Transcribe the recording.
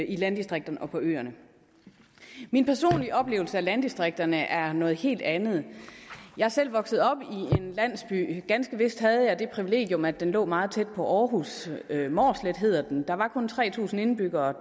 i landdistrikterne og på øerne min personlige oplevelse af landdistrikterne er noget helt andet jeg er selv vokset op i en landsby ganske vist havde jeg det privilegium at den lå meget tæt på århus mårslet hedder den der var kun tre tusind indbyggere